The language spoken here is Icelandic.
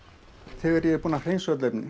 þegar ég er búinn að hreinsa öll efnin